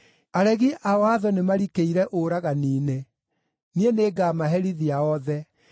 Aregi a watho nĩmarikĩire ũragani-inĩ. Niĩ nĩngamaherithia othe.